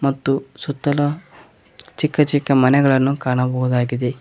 ಮತ್ತು ಸುತ್ತಲು ಚಿಕ್ಕ ಚಿಕ್ಕ ಮನೆಗಳನ್ನು ಕಾಣಬಹುದಾಗಿದೆ.